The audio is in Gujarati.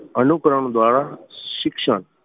અનુકરણ દ્વારા શિક્ષણ.